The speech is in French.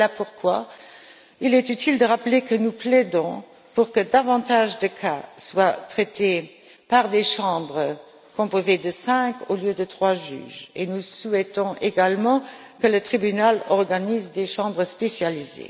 Voilà pourquoi il est utile de rappeler que nous plaidons pour que davantage d'affaires soient traitées par des chambres composées de cinq juges au lieu de trois et que nous souhaitons également que le Tribunal organise des chambres spécialisées.